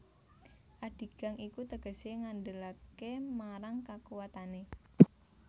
Adigang iku tegesé ngandelaké marang kakuwatané